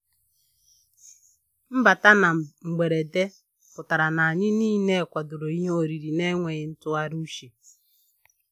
Mbata na mgberede pụtara na anyị niile kwadoro ihe oriri na enweghị ntụgharị uche